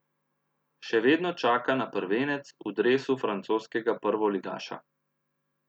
Še vedno čaka na prvenec v dresu francoskega prvoligaša.